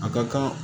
A ka kan